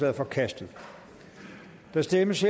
er forkastet der stemmes